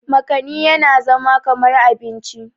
makani yana zama kamar abinci